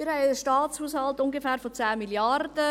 Wir haben einen Staatshaushalt von ungefähr 10 Mrd. Franken;